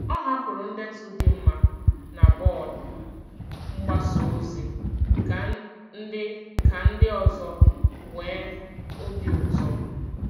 Ọ hapụrụ ndetu dị mma na bọọdụ mgbasa ozi ka ndị ka ndị ọzọ nwee obi ụtọ.